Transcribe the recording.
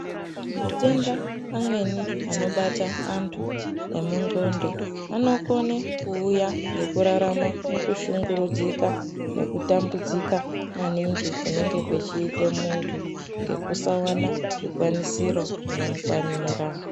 Matenda amweni anobata antu emundxondo, anokone kuuya ngekurarama mukushungurudzika nekutambudzika maningi kunenge kuchiite muntu, ngekusawana zvikwanisiro zvinomukwanira.